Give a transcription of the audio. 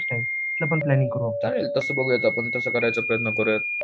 चालेल तसं बघूयात पण तसं करायचा प्रयत्न करूयात